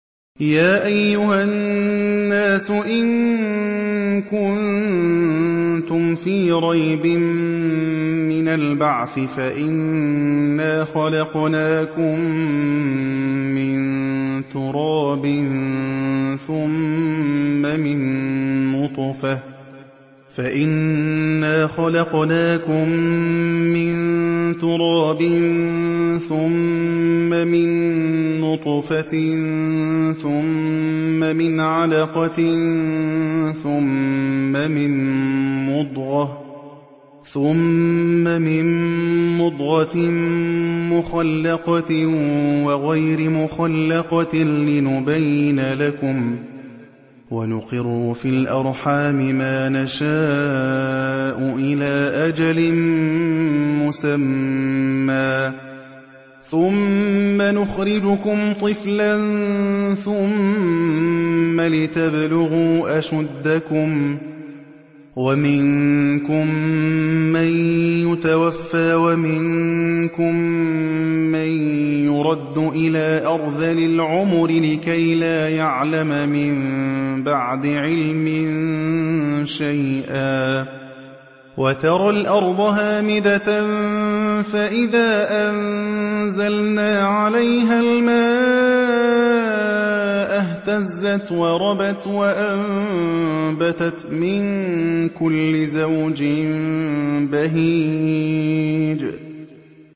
يَا أَيُّهَا النَّاسُ إِن كُنتُمْ فِي رَيْبٍ مِّنَ الْبَعْثِ فَإِنَّا خَلَقْنَاكُم مِّن تُرَابٍ ثُمَّ مِن نُّطْفَةٍ ثُمَّ مِنْ عَلَقَةٍ ثُمَّ مِن مُّضْغَةٍ مُّخَلَّقَةٍ وَغَيْرِ مُخَلَّقَةٍ لِّنُبَيِّنَ لَكُمْ ۚ وَنُقِرُّ فِي الْأَرْحَامِ مَا نَشَاءُ إِلَىٰ أَجَلٍ مُّسَمًّى ثُمَّ نُخْرِجُكُمْ طِفْلًا ثُمَّ لِتَبْلُغُوا أَشُدَّكُمْ ۖ وَمِنكُم مَّن يُتَوَفَّىٰ وَمِنكُم مَّن يُرَدُّ إِلَىٰ أَرْذَلِ الْعُمُرِ لِكَيْلَا يَعْلَمَ مِن بَعْدِ عِلْمٍ شَيْئًا ۚ وَتَرَى الْأَرْضَ هَامِدَةً فَإِذَا أَنزَلْنَا عَلَيْهَا الْمَاءَ اهْتَزَّتْ وَرَبَتْ وَأَنبَتَتْ مِن كُلِّ زَوْجٍ بَهِيجٍ